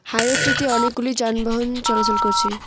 হাইওয়েটিতে অনেকগুলি যানবাহন চলাচল করছে।